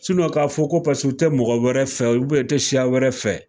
k'a fɔ ko paseke u tɛ mɔgɔ wɛrɛ fɛ, u tɛ siya wɛrɛ fɛ